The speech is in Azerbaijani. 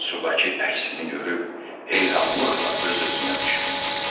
Sudakı əksini görüb heyranlıqla öz-özünə düşündü: